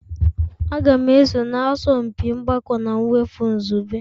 Aga m eso na asọmpi mgbakọ na mwepụ izugbe.